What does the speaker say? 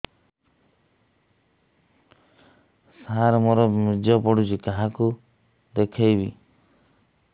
ସାର ମୋର ବୀର୍ଯ୍ୟ ପଢ଼ୁଛି କାହାକୁ ଦେଖେଇବି